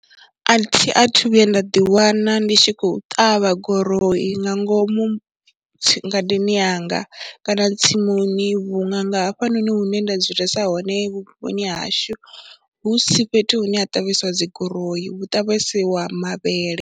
A thi a thu vhuya nda ḓiwana ndi tshi khou ṱavha goroyi nga ngomu ngadeni yanga kana tsimuni vhunga nga hafhanoni hune nda dzulesa hone vhuponi hashu hu si fhethu hune ha ṱavhesiwa dzi goroyi, v hu ṱavhesiwa mavhele.